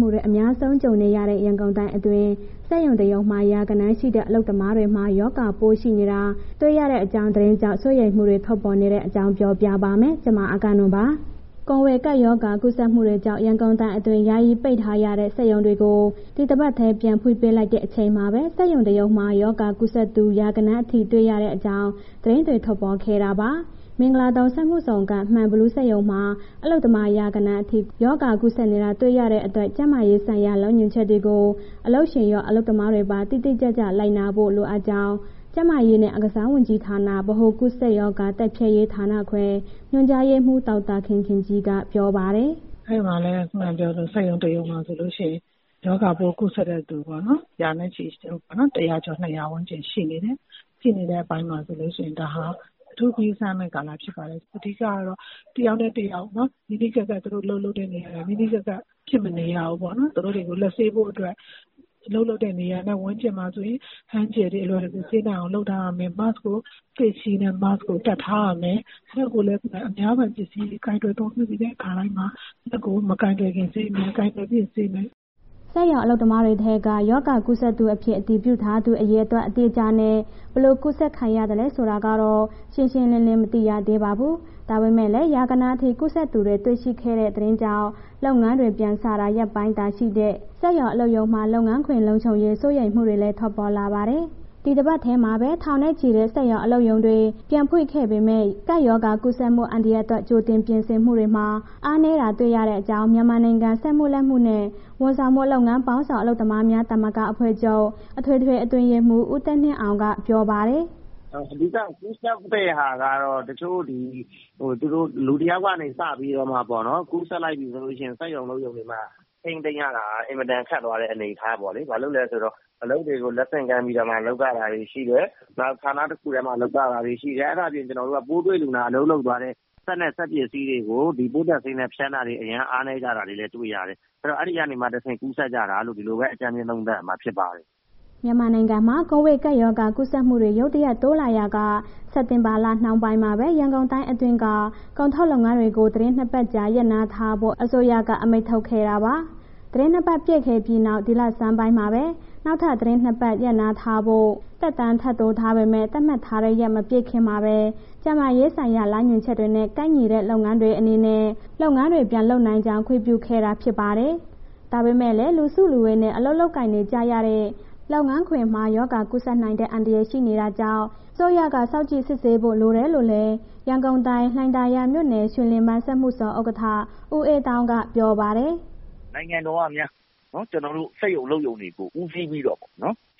မှု အများဆုံး ကြုံနေရတဲ့ ရန်ကုန်တိုင်းအတွင်း စက်ရုံ တရုံမှာ ရာဂဏန်းရှိတဲ့ အလုပ်သမားတွေမှာ ရောဂါပိုးရှိနေတာ တွေ့ရတဲ့အကြောင်း သတင်းကြောင့် စိုးရိမ်မှုတွေ ထွက်ပေါ်နေတဲ့အကြောင်း ပြောပြပါမယ်။ ဗွီအိုအေမြန်မာပိုင်းသတင်းထောက် မအဂ္ဂနွန်က သတင်းပေးပို့ထားပါတယ်။ ကိုဗစ်ကပ်ရောဂါ ကူးစက်မှုတွေကြောင့် ရန်ကုန်တိုင်းအတွင်း ယာယီပိတ်ထားရတဲ့ စက်ရုံတွေကို ဒီတပတ်ထဲ ပြန်ဖွင့်ပေးလိုက်တဲ့ အချိန်မှာပဲ စက်ရုံတရုံမှာ ရောဂါကူးစက်သူ ရာဂဏန်းအထိ တွေ့ရတဲ့အကြောင်း သတင်းတွေ ထွက်ပေါ်ခဲ့တာပါ။ မင်္ဂလာဒုံစက်မှုဇုန်က မှန်ဘီလူးစက်ရုံမှာ အလုပ်သမား ရာဂဏန်းအထိ ရောဂါကူးစက်နေတာ တွေ့ရတဲ့အတွက် ကျန်းမာရေးဆိုင်ရာ လမ်းညွှန်ချက်တွေကို အလုပ်ရှင်ရော၊ အလုပ်သမားတွေပါ တိတိကျကျလိုက်နာဖို့ လိုအပ်ကြောင်း ကျန်းမာရေးနဲ့ အားကစားဝန်ကြီးဌာန၊ ဗဟိုကူးစက်ရောဂါ တိုက်ဖျက်ရေးဌာနခွဲ ညွှန်ကြားရေးမှူး ဒေါက်တာခင်ခင်ကြီးက ပြောပါတယ်။ “အဲ့မှာ စက်ရုံတစ်ခုရုံမှာဆိုလို့ရှင် ရောဂါပိုး ကူးစက်တဲ့သူပေါ့နော် ရာနဲ့ချီရှိတယ်ပေါ့နော်။ ၁၀၀၊ ၂၀၀ ကျော်ဝန်းကျင်ရှိနေတယ်၊ ဖြစ်နေတဲ့အပိုင်းမှာ ဆိုလို့ရှိရင် ဒါဟာ အထူးဂရုစိုက်ရမယ့် ကာလဖြစ်ပါတယ်။ အဓိကတော့ တစ်ယောက်နဲ့ တစ်ယောက်နော် နီးနီးကပ်ကပ် သူတို့အလုပ်လုပ်တဲ့ နေရာတွေ ဖြစ်မနေရဘူးပေါ့နော်။ သူတို့တွေ လက်ဆေးဖို့အတွက် အလုပ်လုပ်တဲ့နေရာနဲ့ ဝန်းကျင်မှာဆိုရင် လက်သန့်ဆေးရည်တွေ အလွယ်တကူဆေးနိုင်အောင် လုပ်ထားရမယ်၊ Face shield နဲ့ Mask ကို တပ်ထားရမယ်။ လက်ကိုလည်း အများပိုင် ပစ္စည်းလေး ကိုင်တွယ်အသုံးပြုပြီးတဲ့အခါတိုင်းမှာ လက်ကို မကိုင်တွယ်ခင် ဆေးမယ်၊ ကိုင်တွယ်ပြီးရင် ဆေးမယ်။” စက်ရုံအလုပ်သမားတွေထဲမှာ ရောဂါကူးစက်သူအဖြစ် အတည်ပြုထားသူ အရေအတွက် အတိအကျနဲ့ ဘယ်လိုကူးစက်ခံရသလဲဆိုတာကတော့ ရှင်းရှင်းလင်းလင်း မသိရသေးပါဘူး။ ဒါပေမဲ့လည်း ရာဂဏန်းအထိ ကူးစက်သူတွေ တွေ့ရှိခဲ့တဲ့ သတင်းကြောင့် လုပ်ငန်းတွေ ပြန်စတာ ရက်ပိုင်းသာ ရှိသေးတဲ့ စက်ရုံ၊ အလုပ်ရုံတွေမှာ လုပ်ငန်းခွင်လုံခြုံရေး စိုးရိမ်မှုတွေလည်း ထွက်ပေါ်လာပါတယ်။ ဒီတပတ်ထဲမှာပဲ ထောင်နဲ့ချီတဲ့ စက်ရုံ၊ အလုပ်ရုံတွေ ပြန်ဖွင့်ခဲ့ပေမဲ့ ကပ်ရောဂါကူးစက်မှု အန္တရာယ်အတွက် ကြိုတင်ပြင်ဆင်မှုတွေမှာ အားနည်းတာ တွေ့ရတဲ့အကြောင်း မြန်မာနိုင်ငံ စက်မှုလက်မှုနဲ့ ဝန်ဆောင်မှုလုပ်ငန်းပေါင်းစုံ အလုပ်သမားများသမဂ္ဂအဖွဲ့ချုပ် အထွေထွေအတွင်းရေးမှူး ဦးသက်နှင်းအောင် ကပြောပါတယ်။ “အဓိက ကူးစက်တဲ့ဟာက တချို့ ဒီ တစ်ယောက်ကနေ စပြီးတော့မှပေါ့နော်။ ကူးစက်လိုက်ပြီးဆိုလို့ရှိရင် စက်ရုံ အလုပ်ရုံထဲမှာ ထိန်းသိမ်းရတာ အင်မတန်ခက်သွားတဲ့ အနေအထားပေါ့လေ၊ ဘာလို့လဲဆိုတော့ အလုပ်တွေကို လက်ဆင့်ကမ်းပြီးတော့မှ လုပ်ရတာတွေရှိတယ်၊ နောက်ဌာနတစ်ခုထဲမှာ လုပ်ရတာတွေရှိတယ်၊ အဲ့ဒါအပြင် ကျနော်တို့ ပိုးတွေ့လူနာအလုပ်လုပ်သွားတဲ့ စက်နဲ့ စက်ပစ္စည်းတွေကို ဒီပိုးသတ်ဆေးနဲ့ ဖျန်းတဲ့ဟာတွေ အရမ်းအားနည်းကြတာတွေလည်း တွေ့ရတယ်၊ အဲ့တော့ အဲ့ဒီကနေတဆင့် ကူးစက်ကြတာလို့ ဒီလိုပဲအကြမ်းဖျင်း သုံးသပ်ရမှာဖြစ်ပါတယ်။” မြန်မာနိုင်ငံမှာ ကိုဗစ်ကပ်ရောဂါ ကူးစက်မှုတွေ ရုတ်တရက် တိုးလာရာက စက်တင်ဘာလ နှောင်းပိုင်းမှာပဲ ရန်ကုန်တိုင်းအတွင်းက ကုန်ထုတ်လုပ်ငန်းတွေကို သီတင်း ၂ ပတ်ကြာ ရပ်နားထားဖို့ အစိုးရက အမိန့်ထုတ်ခဲ့တာပါ။ သီတင်း ၂ ပတ်ပြည့်ခဲ့ပြီးနောက် ဒီလဆန်းပိုင်းမှာပဲ နောက်ထပ် သီတင်း ၂ ပတ် ရပ်နားထားဖို့ သက်တမ်းထပ်တိုးထားပေမဲ့ သတ်မှတ်ထားတဲ့ရက် မပြည့်ခင်မှာဘဲ ကျန်းမာရေးဆိုင်ရာ လမ်းညွှန်ချက်တွေနဲ့ ကိုက်ညီတဲ့လုပ်ငန်းတွေအနေနဲ့ လုပ်ငန်းတွေ ပြန်လုပ်နိုင်ကြောင်း ခွင့်ပြုခဲ့တာ ဖြစ်ပါတယ်။ ဒါပေမဲ့လည်း လူစုလူဝေးနဲ့ အလုပ်လုပ်ကိုင်ကြရတဲ့ လုပ်ငန်းခွင်မှာ ရောဂါကူးစက်နိုင်တဲ့ အန္တရာယ်ရှိနေတာကြောင့် အစိုးရက စောင့်ကြည့်စစ်ဆေးဖို့ လိုတယ်လို့လည်း ရန်ကုန်တိုင်း လှိုင်သာယာမြို့နယ် ရွှေလင်ဗန်းစက်မှုဇုန် ဥက္ကဋ္ဌ ဦးအေးသောင်းက ပြောပါတယ်။ “နိုင်ငံတော်ကများ... ကျနော်တို့ စက်ရုံ အလုပ်ရုံတွေကို ဦးစီးပြီးတော့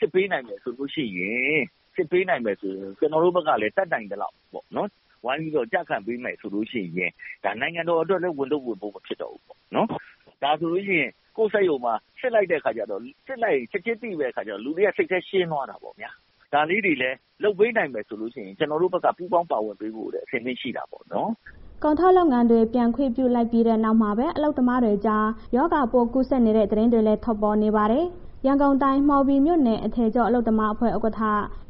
စစ်ပေးနိုင်မယ်ဆိုလို့ရှိရင် စစ်ပေးနိုင်မယ်ဆိုရင် ကျနော်တို့ဘက်က တတ်နိုင်သလောက်ပေါ့နော်... ဝိုင်းပြီးတော့ ကျခံပေးမယ်ဆိုလို့ရှိရင် ဒါ နိုင်ငံတော်အတွက် ဝန်ထုပ်ဝန်ပိုး မဖြစ်တော့ဘူးပေ့ါနော်။ ဒါဆိုလို့ရှိရင် ကိုယ့်စက်ရုံမှာ စစ်လိုက်တဲ့အခါကျတော့ စစ်လိုက်ရင် ချက်ချင်းသိတဲ့အခါကျတော့ လူတွေက စိတ်ထဲရှင်းသွားတာပေါ့ဗျာ၊ ဒါလေးတွေလည်း လုပ်ပေးနိုင်မယ်ဆိုလို့ရှိရင် ကျနော်တို့ဘက်က ပူးပေါင်းပါဝင်ပေးဖို့တော့ အဆင်သင့်ရှိတာပေါ့နော်။” ကုန်ထုတ်လုပ်ငန်းတွေ ပြန်ခွင့်ပြုလိုက်ပြီးနောက်မှာပဲ အလုပ်သမားတွေကြား ရောဂါပိုးကူးစက်သူတွေ ရှိနေတဲ့ သတင်းတွေလည်း ထွက်ပေါ်နေပါတယ်။ ရန်ကုန်တိုင်း မှော်ဘီမြို့နယ် အထည်ချုပ် အလုပ်သမားအဖွဲ့ ဥက္ကဋ္ဌ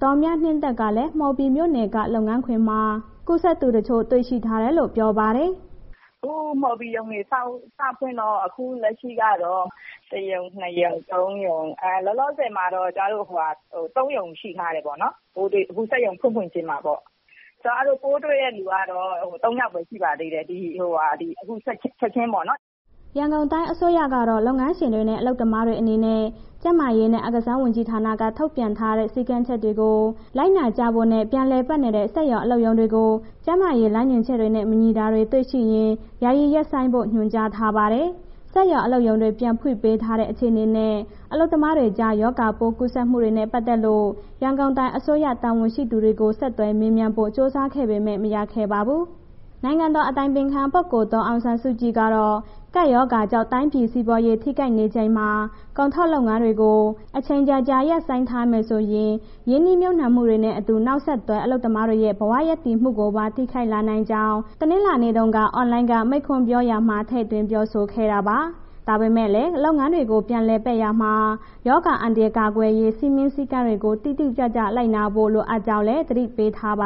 ဒေါ်မြနှင်းသက်ကလည်း မှော်ဘီမြို့နယ်က လုပ်ငန်းခွင်မှာ ကူးစက်သူတချို့ တွေ့ရှိထားတယ်လို့ ပြောပါတယ်။ "အခု မှော်ဘီရုံတွေ စဖွင့်တော့ အခုလက်ရှိကတော့ တစ်ရုံ၊ နှစ်ရုံ၊ သုံးရုံ၊ လောလောဆယ်မှာတော့ ကျမတို့မှာ သုံးရုံရှိထားတယ်ပေါ့နော် ပိုးတွေ့တာ။ အခု စက်ရုံဖွင့်ဖွင့်ချင်းမှာပေ့ါ၊ ပိုးတွေ့တဲ့ လူကတော့ သုံးယောက်ပဲ ရှိပါသေးတယ်... အခုချက်ချင်းပေါ့နော်။” ရန်ကုန်တိုင်းအစိုးရကတော့ လုပ်ငန်းရှင်တွေနဲ့ အလုပ်သမားတွေ အနေနဲ့ ကျန်းမာရေးနဲ့ အားကစားဝန်ကြီးဌာနက ထုတ်ပြန်ထားတဲ့ စည်းကမ်းချက်တွေကို လိုက်နာကြဖို့နဲ့ ပြန်လည်ပတ်နေတဲ့ စက်ရုံ၊ အလုပ်ရုံတွေကို ကြပ်မတ်စစ်ဆေးဖို့ ကျန်းမာရေးလမ်းညွှန်ချက်နဲ့ မညီတာတွေ တွေ့ရှိရင် ယာယီရပ်ဆိုင်းဖို့ ညွှန်ကြားထားပါတယ်။ စက်ရုံ၊ အလုပ်ရုံတွေ ပြန်ဖွင့်ပေးထားတဲ့ အခြေအနေနဲ့ အလုပ်သမားတွေကြား ရောဂါပိုးကူးစက်မှုတွေနဲ့ ပတ်သက်လို့ ရန်ကုန်တိုင်းအစိုးရ တာဝန်ရှိသူတွေကို ဆက်သွယ်မေးမြန်းဖို့ ကြိုးစားပေမဲ့ မရခဲ့ပါဘူး။ နိုင်ငံတော်အတိုင်ပင်ခံ ပုဂ္ဂိုလ် ဒေါ်အောင်ဆန်းစုကြည်ကတော့ ကပ်ရောဂါကြောင့် တိုင်းပြည်စီးပွားရေး ထိခိုက်နေချိန်မှာ ကုန်ထုတ်လုပ်ငန်းတွေကို အချိန်ကြာကြာ ရပ်ဆိုင်းထားမယ်ဆိုရင် ရင်းနှီးမြှုုပ်နှံမှုတွေနဲ့အတူ နောက်ဆက်တွဲ အလုပ်သမားတွေရဲ့ ဘဝရပ်တည်မှုကိုပါ ထိခိုက်လာနိုင်ကြောင်း တနင်္လာနေ့တုန်းက အွန်လိုင်းက မိန့်ခွန်းပြောရာမှာ ထည့်သွင်းပြောဆိုခဲ့တာပါ။ ဒါပေမဲ့လည်း လုပ်ငန်းတွေကို ပြန်လည်ပတ်ရာမှာ ရောဂါအန္တရာယ် ကာကွယ်ရေး စည်းမျဉ်းစည်းကမ်းတွေကို တိတိကျကျ လိုက်နာဖို့ လိုအပ်ကြောင်းလည်း သတိပေးထားပါ